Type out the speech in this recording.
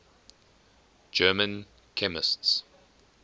german chemists